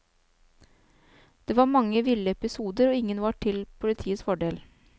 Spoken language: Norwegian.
Det var mange ville episoder, og ingen var til politiets fordel.